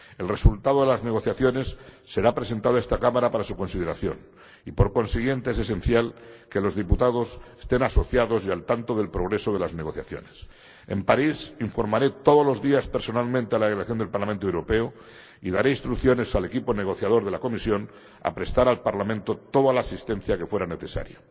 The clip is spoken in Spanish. El resultado de las negociaciones será presentado a esta Cámara para su consideración y, por consiguiente, es esencial que los diputados estén asociados y al tanto del progreso de las negociaciones. En París, informaré todos los días personalmente a la delegación del Parlamento Europeo y daré instrucciones al equipo negociador de la Comisión para que preste al Parlamento toda la asistencia que fuera necesaria.